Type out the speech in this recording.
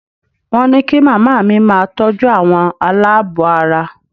Wọ́n ní kí màmá mi máa tọ́jú àwọn aláàbọ̀ ara